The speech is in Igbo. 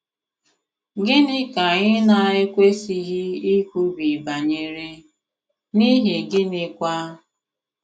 Gịnị ka anyị na - ekwesịghị ikwubi banyere, n’ihi gịnịkwa?